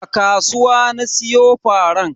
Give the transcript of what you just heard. A kasuwa na siyo faran.